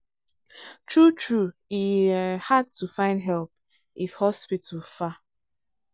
true true e um hard to find help if hospital far.